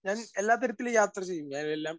Speaker 1 ഞാൻ എല്ലാ തരത്തിലും യാത്ര ചെയ്യും. ഞാൻ എല്ലാം